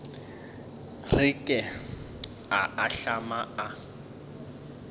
re ke a ahlama a